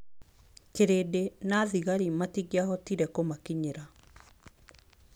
Kĩrĩndĩ na thigari matingĩahotire kũmakinyĩra.